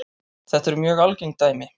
Þetta eru mjög algeng dæmi.